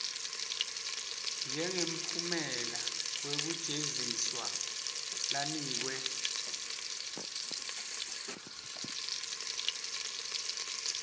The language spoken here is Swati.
njengemphumela wekujeziswa lanikwe